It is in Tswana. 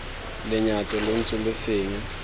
lenyatso lo ntse lo senya